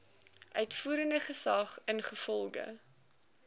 uitvoerende gesag ingevolge